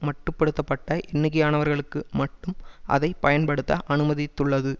மட்டு படுத்த பட்ட எண்ணிக்கையானவர்களுக்கு மட்டும் அதை பயன்படுத்த அனுமதித்துள்ளது